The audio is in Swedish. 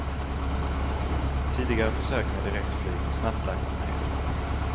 Tidigare försök med direktflyg har snabbt lagts ned.